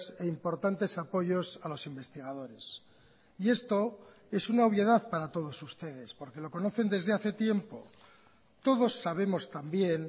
e importantes apoyos a los investigadores y esto es una obviedad para todos ustedes porque lo conocen desde hace tiempo todos sabemos también